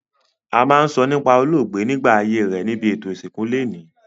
A ma n sọ nípá olóògbé nígbà ayé rẹ nibi ètò ìsìnkú loní